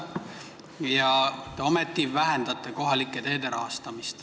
Ja ometi te vähendate kohalike teede rahastamist.